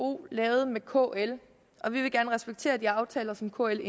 vko lavede med kl og vi vil gerne respektere de aftaler som kl